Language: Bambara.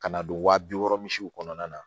Ka na don waa bi wɔɔrɔ misiw kɔnɔna na